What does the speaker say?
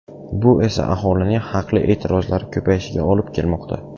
Bu esa aholining haqli e’tirozlari ko‘payishiga olib kelmoqda.